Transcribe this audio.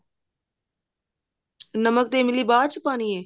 ਨਮਕ ਤੇ ਇਮਲੀ ਬਾਅਦ ਚ ਪਾਉਣੀ ਹੈ